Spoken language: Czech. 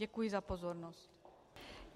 Děkuji za pozornost.